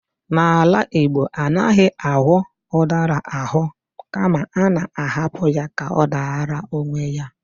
N'ala Igbo, anaghị aghọ ụdara aghọ kama a na-ahapụ ya ka ọ dara onwe ya.